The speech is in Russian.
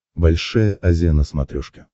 большая азия на смотрешке